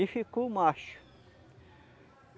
E ficou o macho.